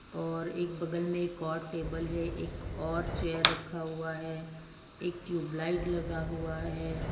और एक बगल में एक और टेबल है एक और चेयर रखा हुआ है एक ट्यूबलाइट लगा हुआ है।